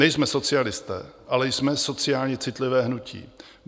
Nejsme socialisté, ale jsme sociálně citlivé hnutí.